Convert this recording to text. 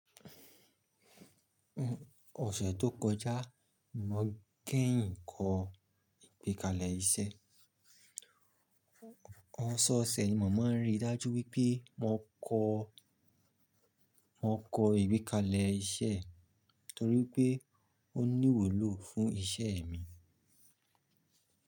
Ọ̀sẹ̀ tó kọjá, mò kẹyin kọ ìgbékalẹ̀ iṣẹ́. Ọ̀sẹ ọ̀sẹ̀ nìí, mọ mọn rí i dájú wípé mo kọ mò kọ ìgbékalẹ̀ iṣẹ́ torí pé ó níwu ló fún isẹ́ mi.